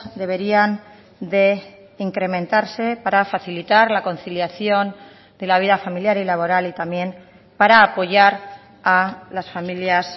deberían de incrementarse para facilitar la conciliación de la vida familiar y laboral y también para apoyar a las familias